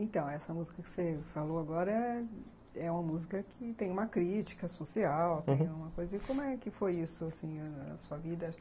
Então, essa música que você falou agora é uma música que tem uma crítica social, uhum, tem uma coisa... E como é que foi isso, assim, na sua vida?